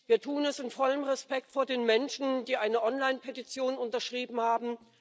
Wir tun es in vollem Respekt vor den Menschen, die eine Online Petition unterschrieben haben.